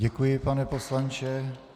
Děkuji, pane poslanče.